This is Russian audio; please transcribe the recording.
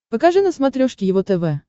покажи на смотрешке его тв